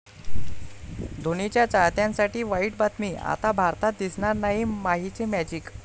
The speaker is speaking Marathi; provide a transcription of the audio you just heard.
धोनीच्या चाहत्यांसाठी वाईट बातमी, आता भारतात दिसणार नाही माहीचे मॅजिक?